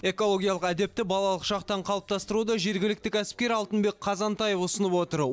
экологиялық әдепті балалық шақтан қалыптастыруды жергілікті кәсіпкер алтынбек қазантаев ұсынып отыр